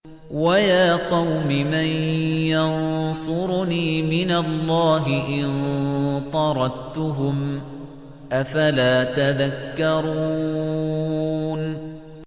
وَيَا قَوْمِ مَن يَنصُرُنِي مِنَ اللَّهِ إِن طَرَدتُّهُمْ ۚ أَفَلَا تَذَكَّرُونَ